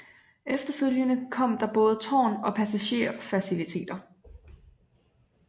Efterfølgende kom der både tårn og passagerer faciliteter